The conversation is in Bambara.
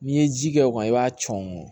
N'i ye ji kɛ o kan i b'a cɔ